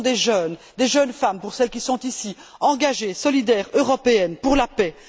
Ce sont des jeunes, des jeunes femmes pour celles qui sont ici, engagées, solidaires, européennes, pour la paix.